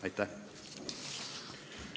Aitäh!